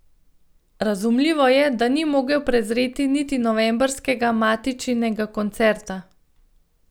Razumljivo je, da ni mogel prezreti niti novembrskega Matičinega koncerta.